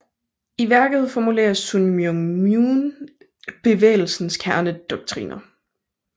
I værket formulerer Sun Myung Moon bevægelsens kernedoktriner